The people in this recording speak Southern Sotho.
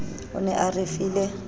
o ne a re file